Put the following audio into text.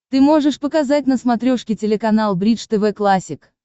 ты можешь показать на смотрешке телеканал бридж тв классик